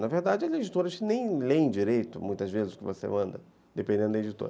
Na verdade, as editoras nem leem direito, muitas vezes, o que você manda, dependendo da editora.